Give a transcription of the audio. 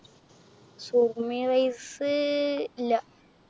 Surumi rice~ ഇല്ല.